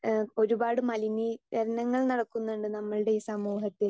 speaker 2 ഏഹ് ഒരുപാട് മലിനീകരണങ്ങൾ നടക്കുന്നുണ്ട് നമ്മൾടെ ഈ സമൂഹത്തിൽ